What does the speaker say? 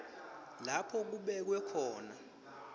lapho kubekwe khona